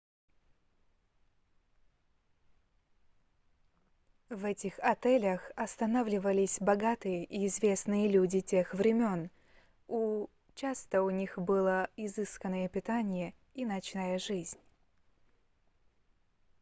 в этих отелях останавливались богатые и известные люди тех времён и часто у них было изысканное питание и ночная жизнь